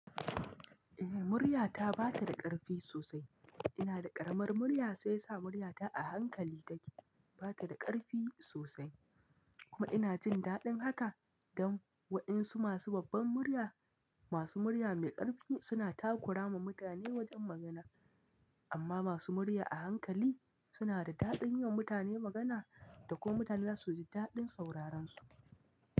Eh murya ta bata da karfi sosai. Ina da ƙaramar murya, sai sa murya ta a hankali take. Bata da karfi sosai kuma ina jin daɗin haka dan waɗan su masu babbar murya, masu murya mai ƙarfi suna takura ma mutane wajan magana amma masu murya a hankali suna da daɗin yi wa mutane magana da kuma mutane za su ji daɗin sauraran su.